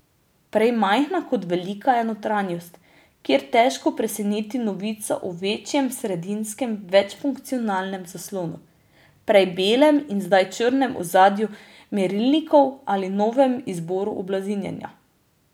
Prej majhna kot velika je notranjost, kjer težko preseneti novica o večjem sredinskem večfunkcijskem zaslonu, prej belem in zdaj črnem ozadju merilnikov ali novem izboru oblazinjenja.